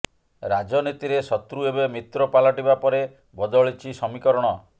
ରାଜନୀତିରେ ଶତ୍ରୁ ଏବେ ମିତ୍ର ପାଲଟିବା ପରେ ବଦଳିଛି ସମୀକରଣ